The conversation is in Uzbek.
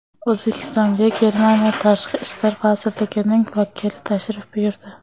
O‘zbekistonga Germaniya Tashqi ishlar vazirligining vakili tashrif buyurdi.